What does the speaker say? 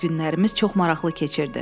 Ad günlərimiz çox maraqlı keçirdi.